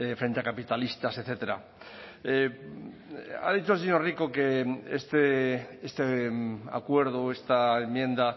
frente a capitalistas etcétera ha dicho el señor rico que este acuerdo esta enmienda